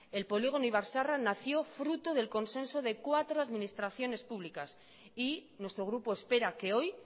el polígono ibar zaharra nació fruto del consenso de cuatro administraciones públicas y nuestro grupo espera que hoy